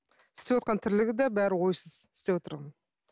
істевотқан тірлігі де бәрі ойсыз істеп отырған